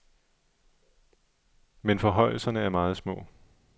Men forhøjelserne er meget små.